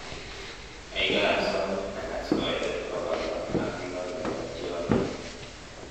gaigai asome agas koitet bogol loo ak loo nepo tyondo